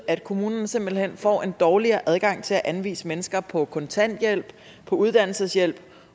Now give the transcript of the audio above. at kommunen simpelt hen får en dårligere adgang til at anvise mennesker på kontanthjælp på uddannelseshjælp